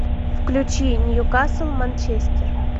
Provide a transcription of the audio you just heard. включи ньюкасл манчестер